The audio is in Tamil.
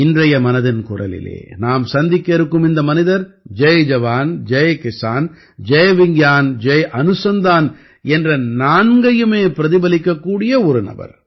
இன்றைய மனதின் குரலிலே நாம் சந்திக்க இருக்கும் இந்த மனிதர் ஜய் ஜவான் ஜய் கிஸான் ஜய் விஞ்ஞான் ஜய் அனுசந்தான் என்ற நான்கையுமே பிரதிபலிக்கக்கூடிய ஒரு நபர்